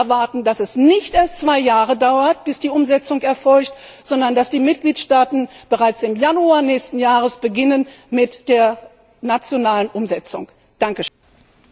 Wir erwarten, dass es nicht erst zwei Jahre dauert, bis die Umsetzung erfolgt, sondern dass die Mitgliedstaaten bereits im Januar nächsten Jahres mit der nationalen Umsetzung beginnen.